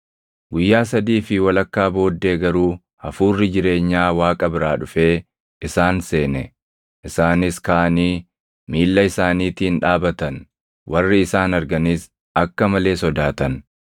Guyyaa sadii fi walakkaa booddee garuu hafuurri jireenyaa Waaqa biraa dhufee isaan seene; isaanis kaʼanii miilla isaaniitiin dhaabatan; warri isaan arganis akka malee sodaatan.